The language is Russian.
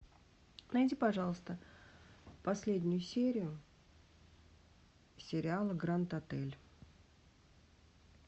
найди пожалуйста последнюю серию сериала гранд отель